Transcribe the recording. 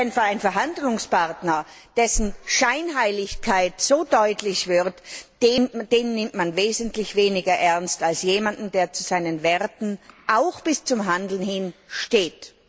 Denn einen Verhandlungspartner, dessen Scheinheiligkeit so deutlich wird, nimmt man wesentlich weniger ernst als jemanden, der zu seinen Werten auch bis zum Handeln hin steht.